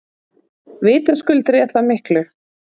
Vitaskuld réð það miklu.